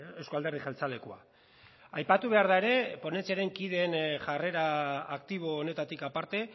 euzko alderdi jeltzalekoa aipatu behar da ere ponentziaren kideen jarrera aktibo honetatik aparte